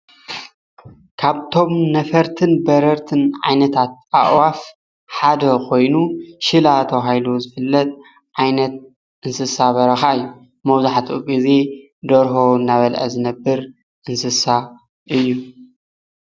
ካብቶም ነፈርትን በረርትን ዓይነታት ኣዕዋፍ ሓደ ኮይኑ ሽላ ተባሂሉ ዝፍለጥ ዓይነት እንስሳ በረካ እዩ፡፡ መብዛሕትኡ ግዜ ደርሆ እናበልዐ ዝነብር እንስሳ እዩ፡፡